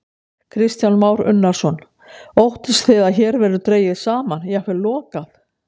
Kristján Már Unnarsson: Óttist þið að hér verði dregið saman, jafnvel lokað?